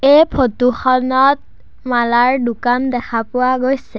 এই ফটো খনত মালাৰ দোকান দেখা পোৱা গৈছে।